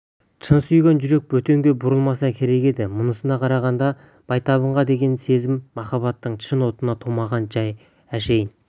шын сүйген жүрек бөтенге бұрылмаса керек еді мұнысына қарағанда байтабынға деген сезім махаббаттың шын отынан тумаған жай әшейін